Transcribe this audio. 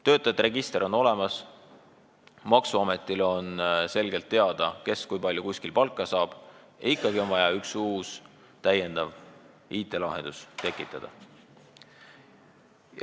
Töötajate register on olemas – maksuametile on selgelt teada, kes kui palju kuskil palka saab –, aga ikkagi on vaja üks uus IT-lahendus tekitada.